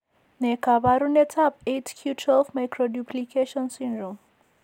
Ne kaabarunetap 8q12 microduplication syndrome?